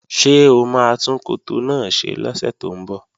Ṣé o máa tún koto náà ṣe lọ́sẹ̀ tó ń bọ̀?